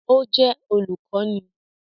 Ó jẹ́ olùkọ́ni